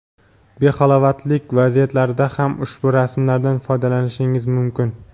behalovatlilik vaziyatlarida ham ushbu rasmlardan foydalanishingiz mumkin.